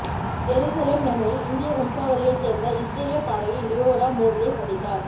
Jerusalem நகரில் இந்திய வம்சாவளியை சேர்ந்த இஸ்ரேலிய பாடகி லியோரா மோடியை சந்தித்தார்